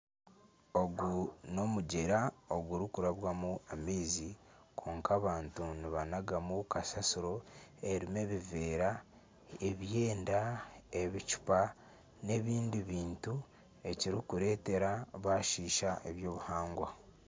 Ogu n'omugyera ogurikurabwamu amaizi kwonka abantu nibanagamu kasasiro erimu ebiveera, ebyeenda, ebicuupa n'ebindi bintu ekirikureetera bashisha eby'obuhangwa.